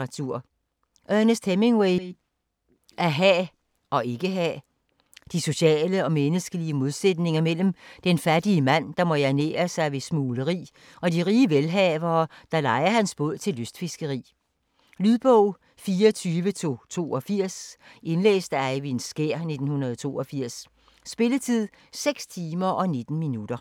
Hemingway, Ernest: At have og ikke have De sociale og menneskelige modsætninger mellem den fattige mand, der må ernære sig ved smugleri, og de rige velhavere, der lejer hans båd til lystfiskeri. Lydbog 24282 Indlæst af Eyvind Skjær, 1982. Spilletid: 6 timer, 19 minutter.